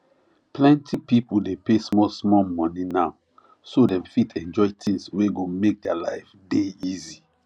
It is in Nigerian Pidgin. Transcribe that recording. plenty people dey pay small small money now so dem fit enjoy things wey go make their life dey easy